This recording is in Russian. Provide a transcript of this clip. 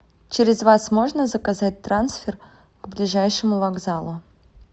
через вас можно заказать трансфер к ближайшему вокзалу